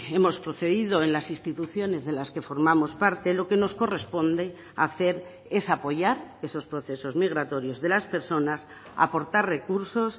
hemos procedido en las instituciones de las que formamos parte lo que nos corresponde hacer es apoyar esos procesos migratorios de las personas aportar recursos